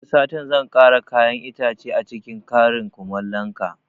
Wani satin zan kara kayan itace acikin karin kumalon ka